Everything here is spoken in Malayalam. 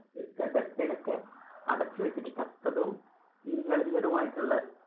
ന്‍ടെ ഡപ്പേലൊക്കെ അടച്ചു വെച്ചിട്ട് ചത്തതും ചീഞ്ഞളിഞ്ഞതും ആയിട്ടുള്ള,